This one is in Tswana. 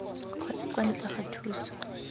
kgotsa kwa ntle ga thuso